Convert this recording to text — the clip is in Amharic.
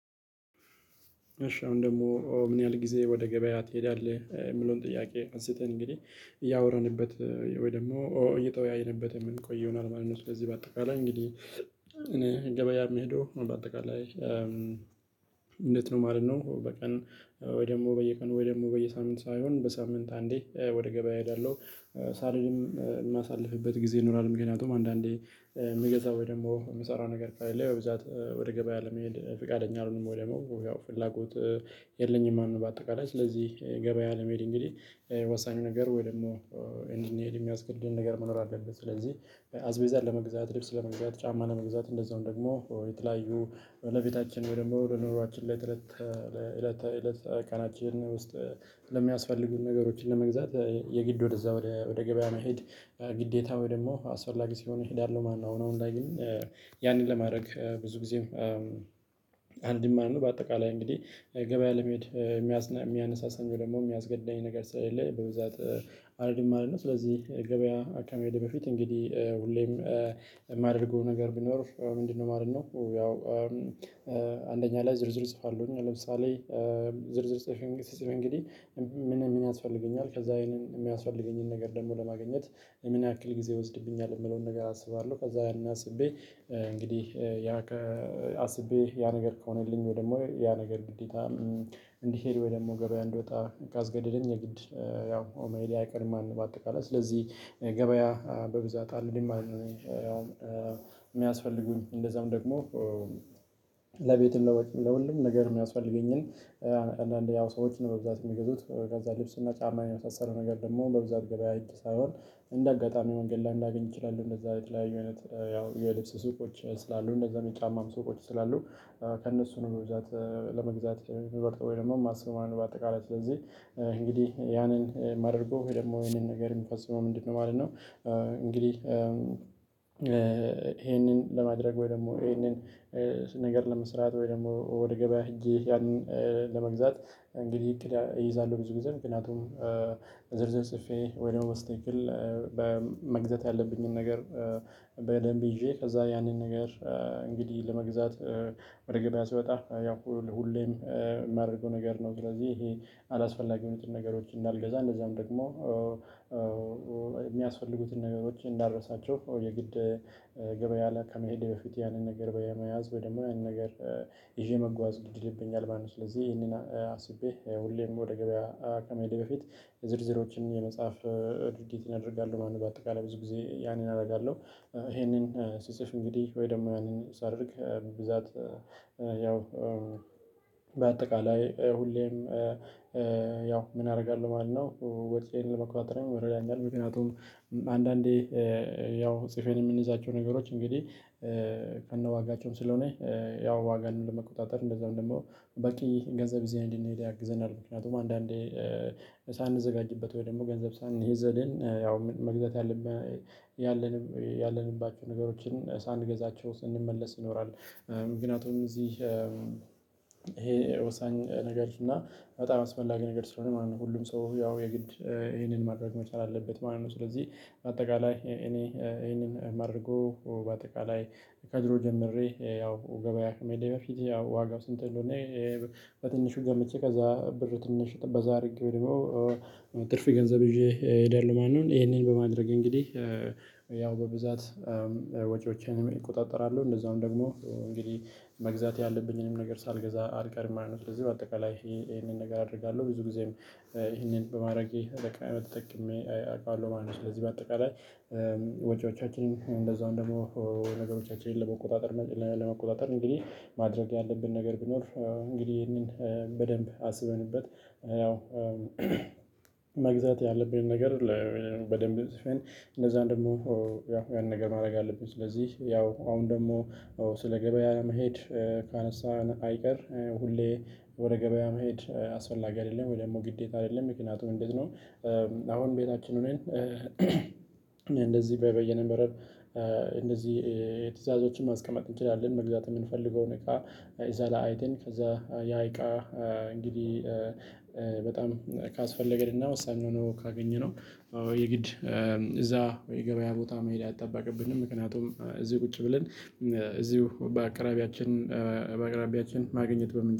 እሺ ኣሁን ደግሞ ምን ያህል ጊዜ ወደ ገበያ ትሄዳለህ እሚለውን ጥያቄ አንስተን እንግዲህ እያወራንበት ወይ ደግሞ እየተወያየንበት የምንቆየው ይሆናል ማለት ነው። ለዚህ በአጠቃላይ እንግዲህ እኔ ገበያ እምሄደው በአጠቃላይ እንዴት ነው ማለት ነው? በቀን ወይ ደሞ በየቀኑ ወይ ደሞ በየሳምንት ሳይሆን በሳምንት አንዴ ወደ ገበያ እሄዳለው። ሳልሄድም ማሳልፍበት ጊዜ ይኖራል ምክንያቱም አንዳንዴ ምገዛው ወይ ደሞ ምሰራው ነገር ካለ ብዛት ወደ ገበያ ለመሄድ ፍቃደኛ አልሆንም ወይ ደሞ ያው ፍላጎት የለኝም ማለት ነው። በአጠቃላይ ስለዚህ ገበያ ለመሄድ እንግዲህ ወሳኙ ነገር ወይ ደግሞ እንድንሄድ የሚያስገድደን ነገር መኖር አለበት። ስለዚህ አስቤዛ ለመግዛት ልብስ ለመግዛት ጫማ ለመግዛት እንደዛውም ደግሞ የተለያዩ የሆነ ቤታችን ወይ ደግሞ ወደ ለኑሯችን ላይ እለት ተእለት ቀናችን ውስጥ ለሚያስፈልጉን ነገሮችን ለመግዛት የግድ ወደዛ ወደ ገበያ መሄድ ግዴታ ወይ ደግሞ አስፈላጊ ሲሆን እሄዳለው ማለት ነው። አሁን አሁን ላይ ግን ያንን ለማረግ ብዙ ጊዜም አንድም ማለት ነው። በአጠቃላይ እንግዲህ ገበያ ለመሄድ የሚያነሳሳኝ ደግሞ የሚያስገድደኝ ነገር ስለሌለ በብዛት አልሄድም ማለት ነው። ስለዚህ ገበያ ከመሄዴ በፊት እንግዲህ ሁሌም ማደርገው ነገር ቢኖር ምንድነው? ማለት ነው ያው አንደኛ ላይ ዝርዝር እጽፋለሁኝ። ለምሳሌ ዝርዝር ጽፌ እንግዲህ ምን ምን ያስፈልገኛል ከዛ ይሄንን የሚያስፈልገኝን ነገር ደግሞ ለማግኘት ምን ያክል ጊዜ ይወስድብኛል የምለውን ነገር አስባለው። ከዛ ያንን ኣስቤ እንግዲህ ያ አስቤ ያ ነገር ከሆነልኝ ወይ ደግሞ ያ ነገር ግዴታ እንዲሄድ ወይ ደግሞ ገበያ እንዲወጣ ካስገደደኝ የግድ ያው መሄዴ አይቀርም ማለት ነው። በአጠቃላይ ስለዚህ ገበያ በብዛት አልሄድም ማለት ነው። ያውም የሚያስፈልጉኝ እንደዛም ደግሞ ለቤትም ለሁሉም ነገር ሚያስፈልገኝን አንዳንዴ ያው ሰዎችን በብዛት እሚገዙት ከዛ ልብስና ጫማ የመሳሰሉ ነገር ደሞ በብዛት ገበያ ህግጄ ሳይሆን እንደ አጋጣሚ መንገድ ላይም ላገኝ እችላለው። እንደዛ የተለያዩ አይነት ያው የልብስ ሱቆች ስላሉ እነዛ የጫማም ስቆች ስላሉ ከእነሱ ነው በብዛት ለመግዛት የምመርጠው ወይ ደግሞ ማስበው ማለት ነው። በአጠቃላይ ስለዚህ እንግዲህ ያንን ማደርገው ወይ ደግሞ ይሄንን ነገር የምፈጽመው ምንድነው? ማለት ነው። እንግዲህ ይሄንን ለማድረግ ወይ ደሞ ይሄንን ነገር ለመስራት ወይ ደግሞ ወደ ገበያ ህጄ ያንን ለመግዛት እንግዲህ እይዛለው ብዙ ጊዜ ምክንያቱም ዝርዝር ጽፌ ወይ ደሞ በስትክክል በ መግዛት ያለብኝን ነገር በደንብ ይዤ ከዛ ያንን ነገር እንግዲህ ለመግዛት ወደ ገበያ ስወጣ ያው ሁሌም ማደርገው ነገር ነው። ስለዚህ ይሄ አላስፈላጊውን ነገሮች እንዳልገዛ እንደዛም ደግሞ የሚያስፈልጉትን ነገሮች እንዳረሳቸው የግድ ገበያ ላይ ከመሄድ በፊት ያንን ነገር በመያዝ ወይ ደግሞ ያንን ነገር ይዤ መጓዝ ግድ ይልብኛል ማለት ነው። ስለዚህ ይሄንን አስቤ ሁሌም ወደ ገበያ ከመሄዴ በፊት ዝርዝሮችን የመጽሐፍ ድርጊት ኣደርጋለው ማለት ነው። በአጠቃላይ ብዙ ጊዜ ያንን አረጋለው ይሄንን ስጽፍ እንግዲህ ወይ ደሞ ያንን ሳደርግ ብዛት ያው በአጠቃላይ ሁሌም ያው ምን አረጋለው ማለት ነው። ወጪዬን ለመቆጣጠሪያ ይረዳኛል። ምክንያቱም አንዳንዴ ያው ጽፈን የምንይዛቸው ነገሮች እንግዲህ ከነዋጋቸውም ስለሆነ ያው ዋጋን ለመቆጣጠር እንደዛው ደሞ በቂ ገንዘብ ይዘን እንድንሄድ ያግዘናል። ምክንያቱም አንዳንዴ ሳንዘጋጅበት ወይ ደሞ ገንዘብ ሳንይዝ ሂደን ያው መግዛት ያለብን ያለንባቸው ነገሮችን ሳንገዛቸው ስንመለስ ይኖራል። ምክንያቱም እዚህ እሄ ወሳኝ ነገር እና በጣም አስፈላጊ ነገር ስለሆነ ማለት ነው። ሁሉም ሰው ያው የግድ ይሄንን ማድረግ መቻል አለበት ማለት ነው። ስለዚህ በአጠቃላይ እኔ ይሄንን ማደርገው በአጠቃላይ ከድሮ ጀምሬ ያው ገበያ ከመሄዴ በፊት ያው ዋጋው ስንት እንደሆነ እኔ በትንሹ ገምቼ ከዛ ብር ትንሽ በዛ አድርጌ ወይ ደሞ ትርፍ ገንዘብ ይዤ እሄዳለው ማለት ነው። ይሄንን በማድረግ እንግዲህ ያው በብዛት ወጪዎቼንም እቆጣጠራለው እንደዛውም ደግሞ እንግዲህ መግዛት ያለብኝንም ነገር ሳልገዛ አልቀርም ማለት ነው። ስለዚህ በአጠቃላይ ይሄንን ነገር አደርጋለው ብዙ ጊዜም ይሄንን በማረጌ በቃላት ተጠቅሜ አውቀዋለው ማለት ነው። ስለዚህ በአጠቃላይ ወጪዎቻችን እንደዛውም ደሞ ነገሮቻችንን ለመቆጣጠር ለመቆጣጠር እንግዲህ ማድረግ ያለብን ነገር ቢኖር። እንግዲህ ይህንን በደንብ አስበንበት ያው መግዛት ያለብን ነገር በደንብ ፅፈን እንደዛ ደግሞ ያው ያን ነገር ማረግ ያለብን ስለዚህ ያው አሁን ደግሞ ስለ ገበያ መሄድ። ካነሳን አይቀር ሁሌ ወደ ገበያ መሄድ አስፈላጊ አይደለም። ወይ ደግሞ ግዴታ አይደለም ምክንያቱም እንዴት ነው? አሁን ቤታችን ሆነን እንደዚህ ብየ ነበረ። እንደዚህ ትዕዛዞችን ማስቀመጥ እንችላለን። መግዛት የምንፈልገውን እቃ እዛ ላይ አይተን ከዛ ያ እቃ እንግዲህ በጣም ካስፈለገን እና ወሳኝ ሁና ነው ካገኘነው የግድ እዛ የገበያ ቦታ መሄድ አይጠበቅብንም። ምክንያቱም እዚህ ቁጭ ብለን እዚሁ በአቅራቢያችን በአቅራቢያችን ማግኘት በምን